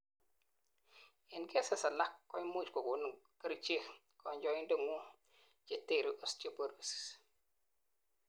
en cases alak, koimuch kokonin kerichek kanyoindetngung chetere osteoporosis